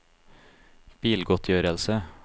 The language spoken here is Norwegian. bilgodtgjørelse